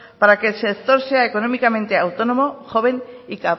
para que el sector sea económicamente autónomo joven y